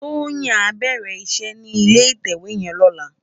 Toyin á bèrè iṣè ni ilé itèwé yèn lòlá